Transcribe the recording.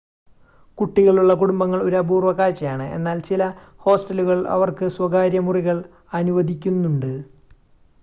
കുട്ടികളുള്ള കുടുംബങ്ങൾ ഒരു അപൂർവ കാഴ്ചയാണ് എന്നാൽ ചില ഹോസ്റ്റലുകൾ അവർക്ക് സ്വകാര്യ മുറികൾ അനുവദിക്കുന്നുണ്ട്